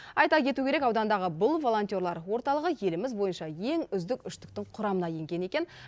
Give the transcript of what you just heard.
айта кету керек аудандағы бұл волонтерлар орталығы еліміз бойынша ең үздік үштіктің құрамына енген екен